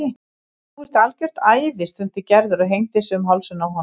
Þú ert algjört æði stundi Gerður og hengdi sig um hálsinn á honum.